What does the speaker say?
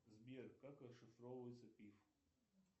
сбер как расшифровывается пиф